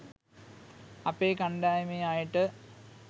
අපේ කණ්ඩායමේ අයට